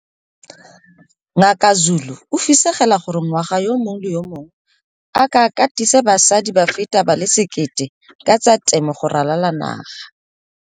Ngaka Zulu o fisegela gore ngwaga yo mongwe le yo mongwe a ka katisa basadi ba feta ba le 1 000 ka tsa temo go ralala le naga.